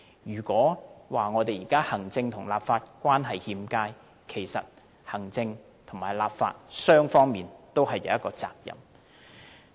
如果說現時行政立法關係欠佳，其實行政立法雙方也有責任。